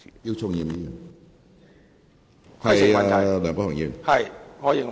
姚松炎議員，請發言。